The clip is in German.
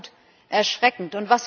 Das ist absolut erschreckend.